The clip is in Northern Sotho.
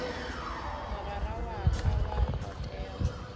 mogwera wa ka wa potego